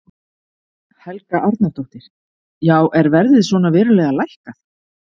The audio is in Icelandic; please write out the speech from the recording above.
Helga Arnardóttir: Já er verðið svona verulega lækkað?